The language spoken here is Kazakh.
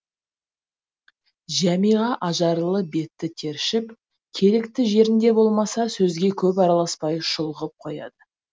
жәмиға ажарлы беті тершіп керекті жерінде болмаса сөзге көп араласпай шұлғып қояды